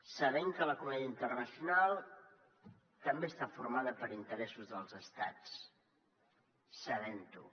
sabent que la comunitat internacional també està formada per interessos dels estats sabent ho